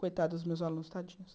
Coitado dos meus alunos, tadinhos.